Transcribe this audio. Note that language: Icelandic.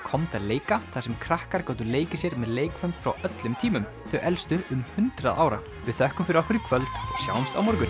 komdu að leika þar sem krakkar gátu leikið sér með leikföng frá öllum tímum þau elstu um hundrað ára við þökkum fyrir okkur og sjáumst á morgun